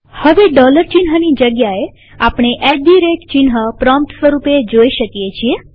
હવે ડોલર ચિહ્નની જગ્યાએ આપણે એટ ધી રેટ ચિહ્ન પ્રોમ્પ્ટ સ્વરૂપે જોઈ શકીએ છીએ